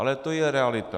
Ale to je realita.